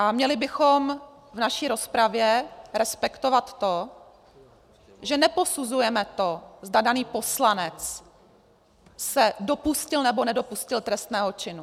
A měli bychom v naší rozpravě respektovat to, že neposuzujeme to, zda daný poslanec se dopustil, nebo nedopustil trestného činu.